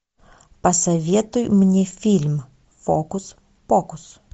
посоветуй мне фильм фокус покус